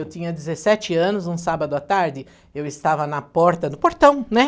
Eu tinha dezessete anos, um sábado à tarde, eu estava na porta do portão, né?